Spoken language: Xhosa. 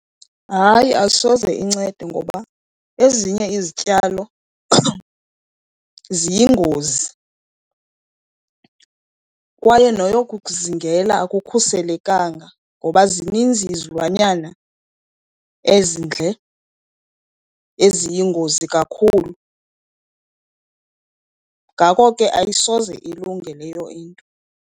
Hayi, asoze incede ngoba ezinye izityalo ziyingozi kwaye noyokuzingela akukhuselekanga, ngoba zininzi izilwanyana ezindle eziyingozi kakhulu. Ngako ke ayisoze ilunge leyo into.